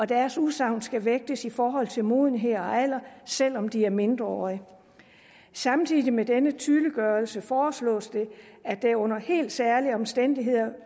deres udsagn skal vægtes i forhold til modenhed og alder selv om de er mindreårige samtidig med denne tydeliggørelse foreslås det at der under helt særlige omstændigheder